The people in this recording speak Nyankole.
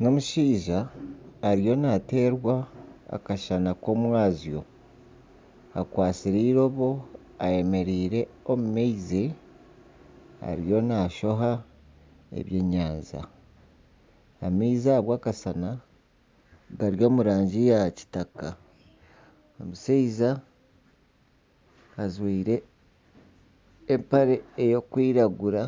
N'omushaija ariyo nateerwa akashana k'omwazyo. Akwatsire eirobo ayemereire omu maizi ariyo naashoha ebyenyanja. Amaizi ahabwa akashana gari omu rangi ya kitaka. Omushaija ajwaire empare erikwiragura